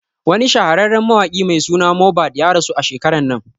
Wani shahararren mawaƙi mai suna Mohbad ya rasu a shekaran nan